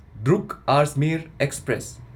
Durg Ajmer express